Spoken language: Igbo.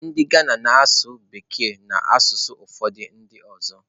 Ndị Ghana na-asụ Bekee na asụsụ obodo ndị ọzọ.